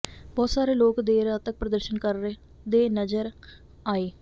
ਬਹੁਤ ਸਾਰੇ ਲੋਕ ਦੇਰ ਰਾਤ ਤਕ ਪ੍ਰਦਰਸ਼ਨ ਕਰਦੇ ਨਜ਼ਰ ਆਏ